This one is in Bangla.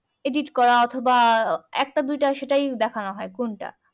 edit করা অথবা একটা দুটো সেটাই দেখানো হয় কোনটা